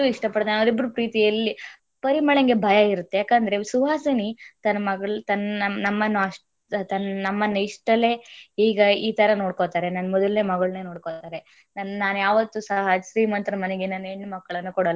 ಇಷ್ಟ ಪಡ್ತಾನೆ ಅಷ್ಟು ಇಷ್ಟ ಪಡ್ತಾನೆ ಅವರಿಬರ ಪ್ರೀತಿ ಎಲ್ಲಿ ಪರಿಮಳಂಗೆ ಭಯ ಇರುತ್ತೆ ಯಾಕಂದ್ರೆ ಸುಹಾಸಿನಿ ತನ್ನ ನಮ್ಮನ ಅಷ್ಟ ನಮ್ಮನ ಇಷ್ಟರಲಿ ಹೀಗೆ ಇತರ ನೋಡ್ಕೋತಾರೆ ನನ್ನ ಮೊದಲನೆ ಮಗಳನೆ ನೋಡ್ಕೊತಾರೆ ನಾನು ಯಾವತ್ತೂ ಸಹ, ಶ್ರೀಮಂತರ ಮನೆಗೆ ನನ್ನ.